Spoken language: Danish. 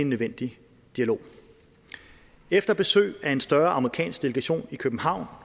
nødvendig dialog efter besøg af en større amerikansk delegation i københavn